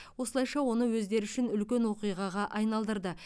осылайша оны өздері үшін үлкен оқиғаға айналдырды